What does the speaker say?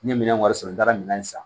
N ye minɛn wɛrɛ sɔrɔ n taara minɛn san